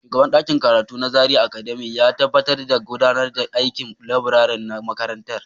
Shugaban ɗakin karatu na Zaria Academy ya tabbatar da gudanar da aikin laburare na makarantar.